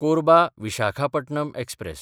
कोरबा–विशाखापटणम express